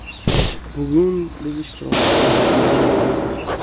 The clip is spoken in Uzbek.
Bugun biz ishtirok tasdig‘ini oldik.